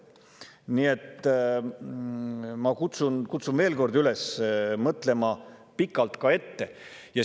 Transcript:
Nii et ma kutsun veel kord üles mõtlema pikalt ette.